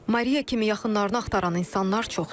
Mariya kimi yaxınlarını axtaran insanlar çoxdur.